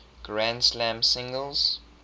grand slam singles